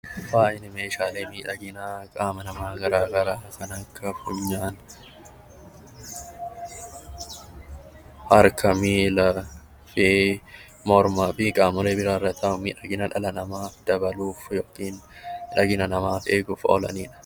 Faayi meeshaalee miidhaginaa qaama namaa kan akka funyaan, harka, miila, mormaa fi qaamolee irra taa'uun miidhagina dhala namaa dabaluuf kanneen oolanidha